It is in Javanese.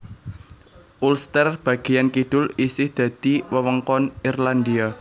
Ulster bagéyan kidul isih dadi wewengkon Irlandia